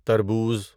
تربوز